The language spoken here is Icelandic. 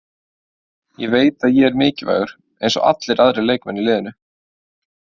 Ég veit að ég er mikilvægur, eins og allir aðrir leikmenn í liðinu.